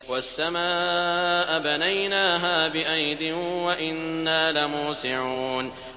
وَالسَّمَاءَ بَنَيْنَاهَا بِأَيْدٍ وَإِنَّا لَمُوسِعُونَ